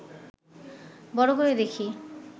বড় করে দেখি